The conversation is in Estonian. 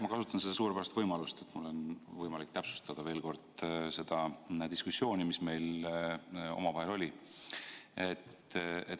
Ma kasutan seda suurepärast võimalust, et mul on võimalik täpsustada veel kord seda diskussiooni, mis meil omavahel oli.